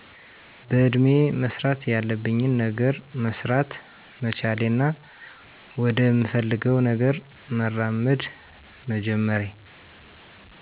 በእድሜየ መስራት ያለብኝን ገነር መሰራት መቻሌና ወደምፈልገውነገር መራመድ መጀመሬ